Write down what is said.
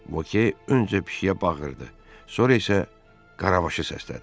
Voke öncə pişiyə bağırdı, sonra isə Qarabaşı səslədi.